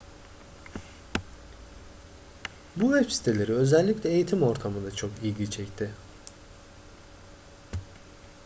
bu web siteleri özellikle eğitim ortamında çok ilgi çekti